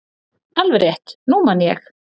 """Alveg rétt, nú man ég."""